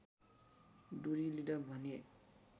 दुरी लिँदा भने